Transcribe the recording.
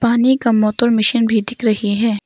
पानी का motor machine भी दिख रही है।